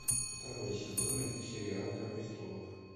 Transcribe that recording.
второй сезон сериал игра престолов